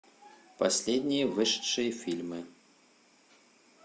последние вышедшие фильмы